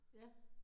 Ja